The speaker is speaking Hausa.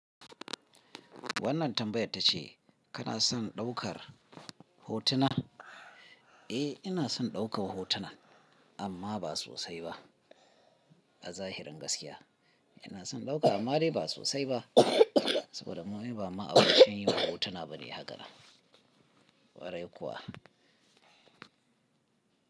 Wannan tambayar ta ce kana son ɗaukar hotuna? Eh, ina son ɗaukar hotuna amma ba sosai ba. A zahirin gaskiya ina son ɗauka amma dai ba sosai ba saboda mun yi ba ma'abocin yin hotuna bane hakanan kwarai kuwa.